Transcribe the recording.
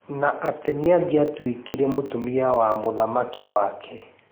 Na atĩ nĩ angiatuĩkire mũtumia wa mũthamaki wake.